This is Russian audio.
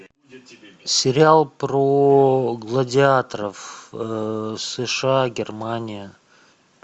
сериал про гладиаторов сша германия